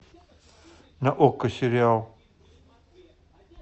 на окко сериал